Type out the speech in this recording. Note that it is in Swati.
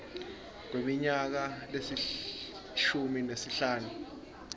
kweminyaka lelishumi nesihlanu